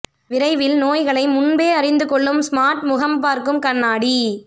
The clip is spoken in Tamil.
விரைவில் நோய்களை முன்பே அறிந்துகொள்ளும் ஸ்மார்ட் முகம் பார்க்கும் கண்ணாடி